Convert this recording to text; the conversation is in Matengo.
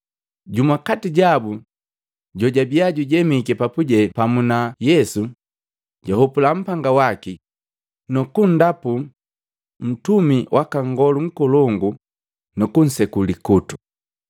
Jumu kati jabu jojabia jujemiki papuje pamu na Yesu, jahopula mpanga waki, nukundapu ntumi waka Nngolu Nkolongu nukunseku likutu.